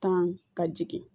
Tan ka jigin